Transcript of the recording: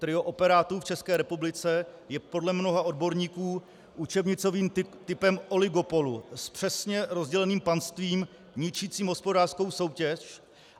Trio operátorů v České republice je podle mnoha odborníků učebnicovým typem oligopolu s přesně rozděleným panstvím ničícím hospodářskou soutěž.